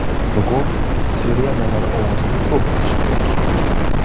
Bugun sirenalar ovozini ko‘p eshitdik.